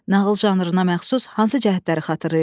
Nağıl janrına məxsus hansı cəhətləri xatırlayırsız?